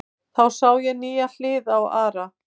Þá sá ég nýja hlið á Ara.